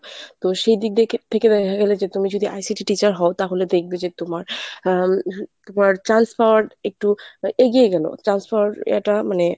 তো সেই দিক দেখে থেকে দেখা গেল যে তুমি যদি ICT র teacher হও তাহলে দেখবে যে তোমার আ তোমার chance পাওয়ার একটু এগিয়ে গেলো chance পাওয়ার ইয়েটা মানে।